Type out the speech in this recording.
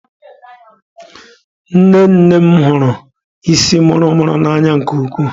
Nne nne m hụrụ isii muru muru n'anya nke ukwuu.